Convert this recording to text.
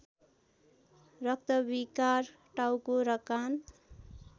रक्तविकार टाउको र कान